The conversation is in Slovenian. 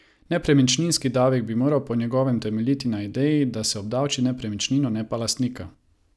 Nepremičninski davek bi moral po njegovem temeljiti na ideji, da se obdavči nepremičnino, ne pa lastnika.